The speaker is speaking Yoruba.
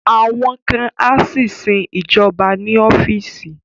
Àwọn kan á sì sin ìjọba ní ọ́fíìsì